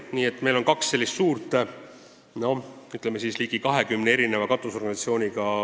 Nii et meil on olnud kaks suurt istungit, kus on esindatud olnud ligi 20 ettevõtet ja organisatsiooni.